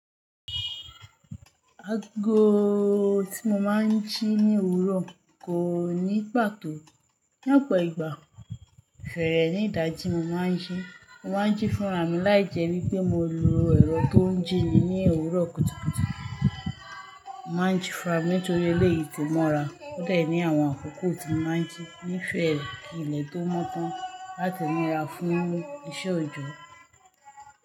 Aago tí mo máa ń jí ní òwúrọ̀ kò ní pàtó. Ní ọ̀pọ̀ ìgbà fẹ́rẹ̀ ní ìdajì mo máa ń jí. Mo máa ń jí fúnra mi láìjẹ́ wípé mo lọ ẹ̀rọ tó ń jí mi ní òwúrọ̀ kùtùkùtù. Mo máa ń ju fún ra mi nítorí eléyìí ti mọ́ra. Ó de ní àwọn àkókò tí mo máa ń jí nífẹ̀ẹ́re kí ilẹ̀ tó mọ́ tán láti múra fún iṣẹ́ òjọ́.